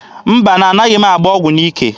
Mba, na-anaghị m agba ọgụ n'ike.